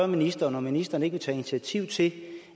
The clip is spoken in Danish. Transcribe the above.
ministeren om ministeren ikke vil tage initiativ til